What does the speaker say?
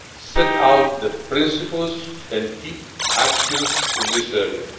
set out the principles and key actions in this area.